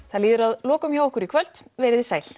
það líður að lokum hjá okkur í kvöld verið þið sæl